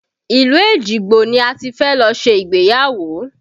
Ilu Ejigbo ni a ti fẹ́ lọ ṣe ìgbéyàwó